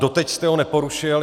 Doteď jste ho neporušil.